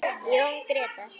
Jón Grétar.